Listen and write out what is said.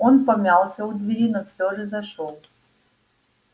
он помялся у двери но всё же зашёл